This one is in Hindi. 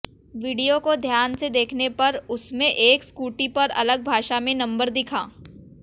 विडियो को ध्यान से देखने पर उसमें एक स्कूटी पर अलग भाषा में नंबर दिखा